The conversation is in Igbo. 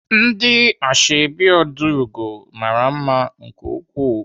Ndị ashọbị Ojiugo mara mma nke ukwuu.